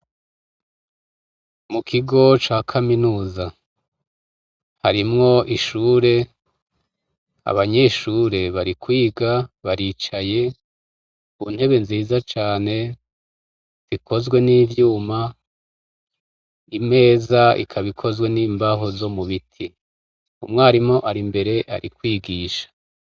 Mukigo ca kaminuza harimwo ishure abanyeshure bari kwiga baricaye mu ntebe nziza cane ikozwe n’ivyuma, imeza ikaba ikozwe n’imbaho zo mubiti. Umwarimu arimbere ari kwigisha.